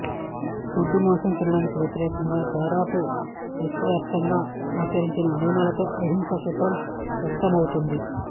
గొడ్డు మాంసం తినడానికి వ్యతిరేకంగా దాదాపు విశ్వవ్యాప్తంగా ఆచరించిన నియమాలలో అహింసా సూత్రం వ్యక్తమౌతుంది